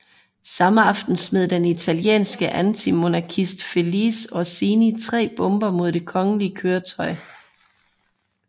Samme aften smed den italienske antimonarkist Felice Orsini tre bomber mod det kongelige køretøj